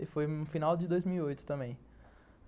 E foi no final de dois mil e oito também.